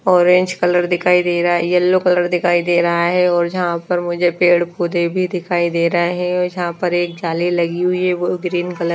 orange colour दिखाई दे रहा है येलो कलर दिखाई दे रहा है और जहां पर मुझे पेड़ पौधे भी दिखाई दे रहा है जहां पर एक जाले लगीं हुई है वो ग्रीन कल --